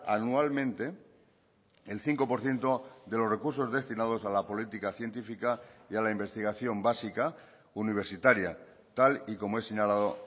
anualmente el cinco por ciento de los recursos destinados a la política científica y a la investigación básica universitaria tal y como he señalado